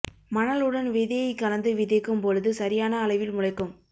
மணல் உடன் விதையை கலந்து விதைக்கும் பொழுது சரியான அளவில் முளைக்கும்